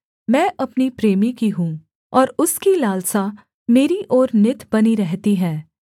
मैं अपनी प्रेमी की हूँ और उसकी लालसा मेरी ओर नित बनी रहती है